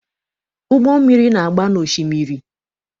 Ụgbọ mmiri na-agba na osimiri.